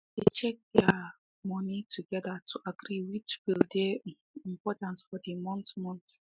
they check their um money together to agree which bill dey um important for the month month